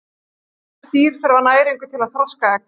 Þessi dýr þurfa næringu til að þroska egg.